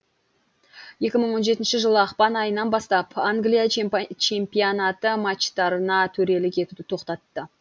екі мың он жетінші жылы ақпан айынан бастап англия чемпионаты матчтарына төрелік етуді тоқтатты